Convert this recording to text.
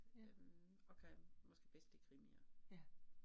Ja. Ja